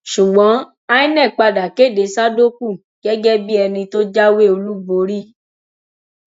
ṣùgbọn inec padà kéde sádókù gẹgẹ bíi ẹni tó jáwé olúborí